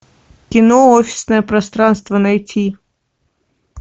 кино офисное пространство найти